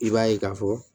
I b'a ye k'a fɔ